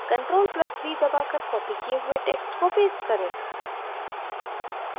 ctrl + v दबाकर copied किये हुए text को paste करें